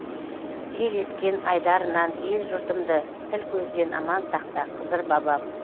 жел ескен айдарынан ел жұртымды тіл көзден аман сақта қызыр бабам